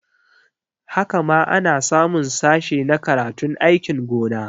Haka ma ana samun sashe na karatun aikin gona